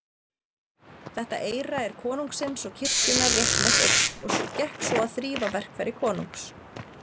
Þetta eyra er konungsins og kirkjunnar réttmætt eign, og gekk svo að þrífa verkfæri konungs.